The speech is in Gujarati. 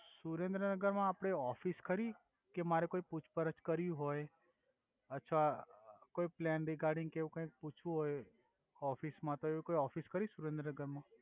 સુરેંદ્રનગર મા આપની ઓફિસ ખરી કે મારે કોઇ પૂછપરછ કરવી હોય અથવા કોઇ પ્લેન રિગાર્ડિગ કે એવુ કઈ પૂછવું હોય તો એની કોઇ ઓફિસ ખરી સુરેંદ્રનગર મા